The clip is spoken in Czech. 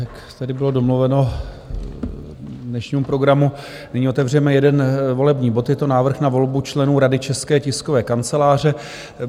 Jak tedy bylo domluveno k dnešnímu programu, nyní otevřeme jeden volební bod, je to Návrh na volbu členů rady České tiskové kanceláře.